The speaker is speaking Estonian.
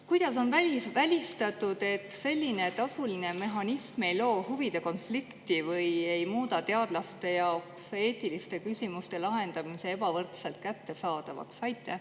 Kuidas on välistatud, et selline tasuline mehhanism ei loo huvide konflikti või ei muuda teadlaste jaoks eetiliste küsimuste lahendamist ebavõrdselt kättesaadavaks?